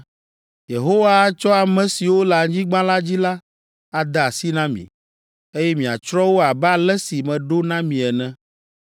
Yehowa atsɔ ame siwo le anyigba la dzi la ade asi na mi, eye miatsrɔ̃ wo abe ale si meɖo na mi ene.